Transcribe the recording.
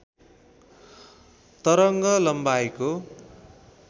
तरङ्ग लम्बाइको